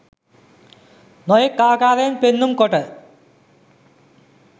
නොයෙක් ආකාරයෙන් පෙන්නුම් කොට